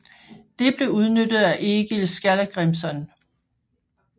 Det blev udnyttet af Egil Skallagrimson